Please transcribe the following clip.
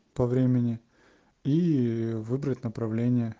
по времени ии выбрать направление